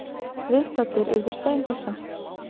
Viðstaddir urðu steinhissa.